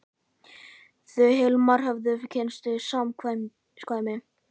Þau Hilmar höfðu kynnst í samkvæmi.